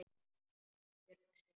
Ísbjörg sitt.